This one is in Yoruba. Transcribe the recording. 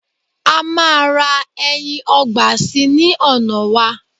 ama ra ẹyin ọgbà sí ní ona wa